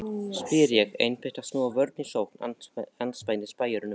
spyr ég, einbeitt að snúa vörn í sókn andspænis spæjurunum.